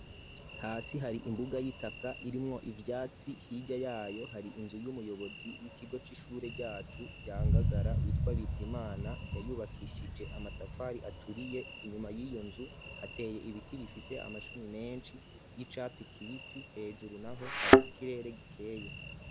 Hasi hari imbuga y'itaka irimwo ivyatsi hirya yayo hari inzu y'umuyobozi w'ikigo c'ishure ryacu rya ngagara bitwa Bizimana yayubakishije amatafari aturiye inyuma yiyo nzu hateye ibiti bifise amashami menshi y'icatsi kibisi hejuru naho hari ikirere gikeye.